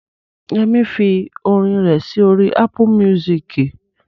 Yẹmí fi orin rẹ̀ sí orí Ápù míúsìkì